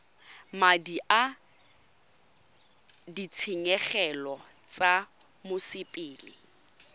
madi a ditshenyegelo tsa mosepele